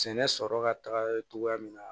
Sɛnɛ sɔrɔ ka taga cogoya min na